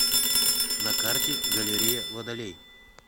на карте галерея водолей